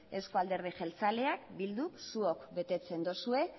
euzko alderdi jeltzaleak bilduk zuok betetzen dozue